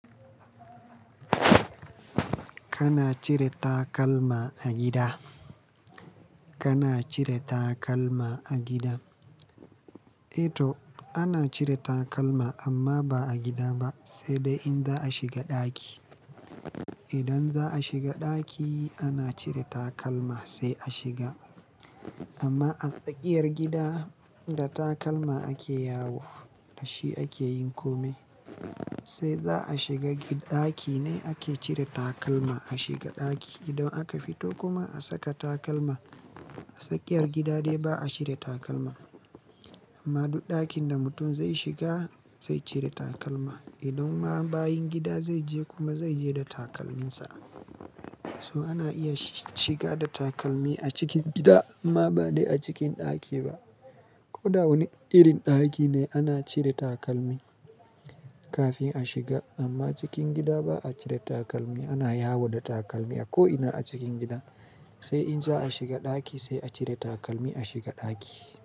Kana cire takalma a gida? Kana cire takalma a gida? Eh to, ana cire takalma amma ba a gida ba, sai dai in za a shiga ɗaki. Idan za a shiga ɗaki ana cire takalma sai a shiga. Amma a tsakiyar gida da takalma ake yawo, da shi ake yin kome. Sai za a shiga ɗaki ne ake cire takalma a shiga ɗaki. Idan aka fito kuma a saka takalma. A tsakiyar gida dai ba a cire takalma. Amma duk ɗakin da mutum zai shiga zai cire takalma. Idan ma bayin gida zai je kuma zai je da takalminsa. So ana iya shi ciga da takalmi a cikin gida amma ba de a cikin ɗaki ba. Ko da wani irin ɗaki ne ana cire takalmi kafin a shiga amma cikin gida ba a cire takalmi, ana yawo da takalmi a ko ina a cikin gida. Sai in za a shiga ɗaki sai a cire takalmi a shiga ɗaki.